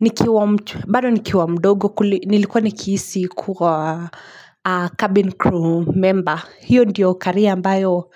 Nikiwa baado nikiwa mdogo, nilikuwa nikihisi kuwa cabin crew member. Hiyo ndiyo career ambayo